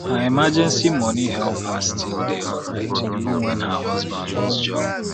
her emergency money help her still dey alright even when her husband lose job